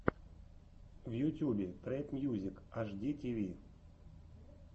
в ютюбе трэп мьюзик аш ди ти ви